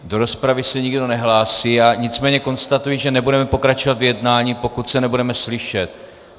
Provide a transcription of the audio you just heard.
Do rozpravy se nikdo nehlásí, já nicméně konstatuji, že nebudeme pokračovat v jednání, pokud se nebudeme slyšet.